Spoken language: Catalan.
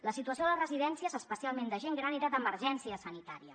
la situació de les residències especialment de gent gran era d’emergència sanitària